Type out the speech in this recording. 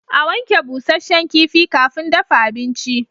A wanke busasshen kifi kafin dafa abinci